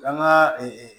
Kan ga